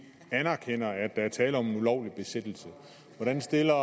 anerkender at der er tale om en ulovlig besættelse hvordan stiller